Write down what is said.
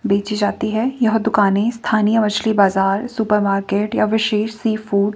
बेचे जाती हैं यह दुकानें स्थानीय व अछली बाजार सुपर मार्केट या विशेष सी फूड --